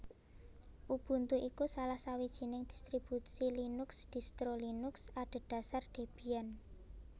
Ubuntu iku salah sawijining distribusi Linux distro Linux adhedhasar Debian